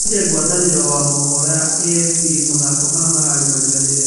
Arerire gwatanĩro wa maũhoro ya AFP, Mathako maya nĩ mararĩ marĩganĩre.